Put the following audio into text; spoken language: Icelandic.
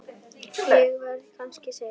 Ég verð kannski seinn.